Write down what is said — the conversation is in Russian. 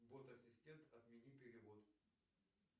бот ассистент отмени перевод